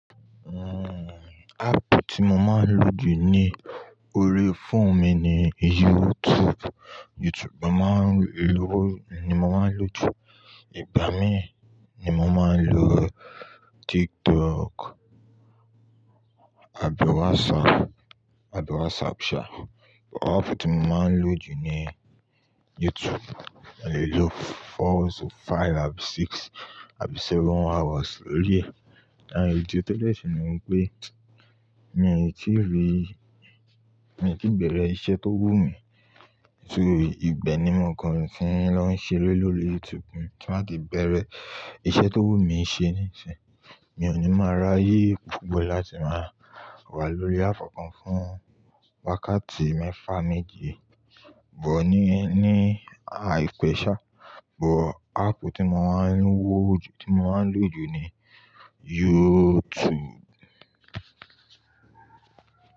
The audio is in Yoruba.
Uhm, app tí mo máa ń lò jù ní orí fóònù mi ni YouTube. YouTube mo máa ń lo, ni mo máa ń lò jù. Ìgbà mi ni mo máa ń lò TikTok àbí WhatsApp, àbí WhatsApp ṣa. But app tí mo máa ń lò jù ni YouTube. Mo lè lò four to five àbí six àbí seven hours lórí ẹ̀. Àh idi tó de sì ni wípé mi ò tí rí, mi ò tí bẹ̀rẹ̀ iṣẹ́ tó wù mí. Nítorí ìbe ni mo kan ni tí ń lọ ń ṣeré lórí YouTube. Ti n ba ti bẹ̀rẹ̀ iṣẹ́ tó wù mí ṣe níìsín. Mi ò ní máa rayé púpọ̀ láti máa wà lórí app kan fún wákàtí mẹ́fà méje but ní, ní àìpẹ́ ṣá. But app tí mo máa ń wò jù, tí mo máa ń lò jù ni YouTube.